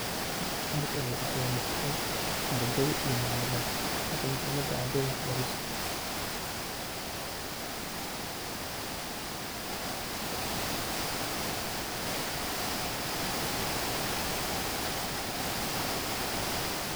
Halkani waxaa igamuuqata ardey iyo macalimad taas oo macalimada waxbareyso ardeyda.